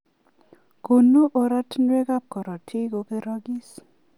Konu oratunwek ab karotik kokerakis.